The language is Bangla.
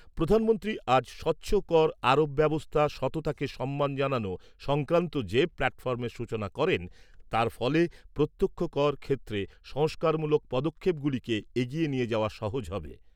প্রধানমন্ত্রী আজ স্বচ্ছ কর আরোপ ব্যবস্থা সততাকে সম্মান জানানো' সংক্রান্ত যে প্ল্যাটফর্মের সূচনা করেন তার ফলে প্রত্যক্ষ কর ক্ষেত্রে সংস্কারমূলক পদক্ষেপগুলিকে এগিয়ে নিয়ে যাওয়া সহজ হবে।